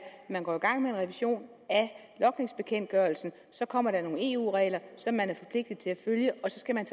at går man i gang med en revision af logningsbekendtgørelsen så kommer der nogle eu regler som man er forpligtet til at følge og så skal man